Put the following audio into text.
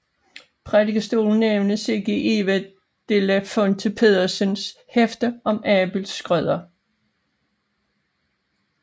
Prædikestolen nævnes ikke i Eva de la Fuente Pedersens hefte om Abel Schrøder